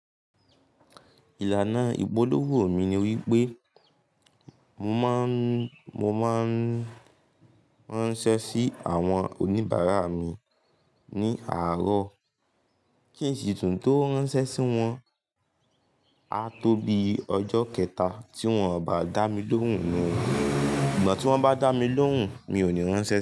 Ìlànà ìpolówó mi ni wípé mo máa ń ranṣẹ́ sí àwọn oníbàárà mi ní àárọ̀. Kìí ṣe tùn tó ránṣẹ́ sí wọn a tó bíi ọjọ́ kẹta tí wọ́n ò bá dá mi lóhùn nu o. Ìgbà tí wọ́n bá dá mi lóhùn mi ò ní ránṣẹ́